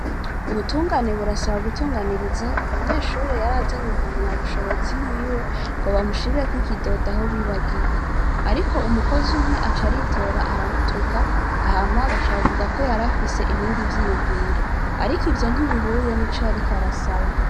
Ubutungane burasaba gutunganiriza umunyeshure yari azanye impamyabushobozi yiwe, ngo bamushirireko ikidodo aho yibagiye. Ariko umukozi umwe aca aritora aramutuka, hama baca bavuga ko yari afise ibindi vyiyumviro. Ariko ivyo ntibihuye n'ico yariko arasaba.